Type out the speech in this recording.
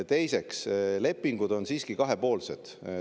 Teiseks, lepingud on siiski kahepoolsed.